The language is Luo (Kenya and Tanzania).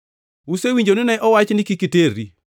“Usewinjo ni ne owach ni, ‘Kik iterri.’ + 5:27 \+xt Wuo 20:14\+xt*